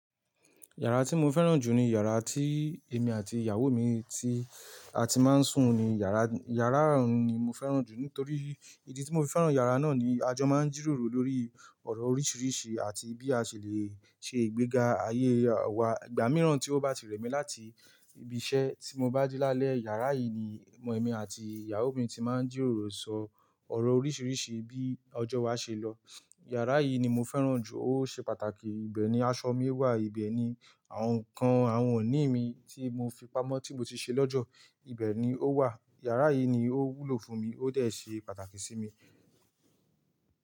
Yàrá tí mo fẹ́ràn jù ni yàrá tí èmi àti ìyàwó mi ti a ti máa ń sùn ni. Yàrá, yàrá ọ̀hun ni mo fẹ́ràn jù nítorí ìdí tí mo fi fẹ́ràn yàrá náà ni a jò máa ń jíròrò lórí ọ̀rọ̀ oríṣiríṣi àti bí a ṣe lè ṣe ìgbéga ayé wa. Ìgbà mìíràn tí ó bá ti rẹ̀ mí láti ibi iṣẹ́ tí mo bá dé lálẹ́, yàrá yìí ni ọmọ mi àti ìyàwó mi ti máa ń jíròrò sọ ọ̀rọ̀ oríṣiríṣi bí ọjọ́ wá ṣe lọ. Yàrá yìí ni mo fẹ́ràn jù, ó ṣe pàtàkì. Ibẹ̀ ni aṣọ mi wà, ibẹ̀ ni àwọn ǹkan àwọn iní mi tí mo fi pamọ́ tí mo ti ṣe lọ́jọ́, ibẹ̀ ni ó wà. Yàrá yìí ni ó wúlò fún mi, ó dẹ̀ ṣe pàtàkì sí mi.